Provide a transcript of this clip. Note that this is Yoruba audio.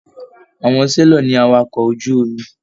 Àwọn selọ̀ ní àwàkọ̀ ojú omi.